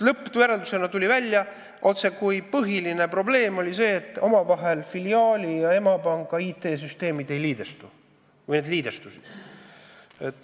Lõppjäreldusena tuli välja, et põhiline probleem oli nagu see, et filiaali ja emapanga IT-süsteemid omavahel ei liidestu või need liidestusid.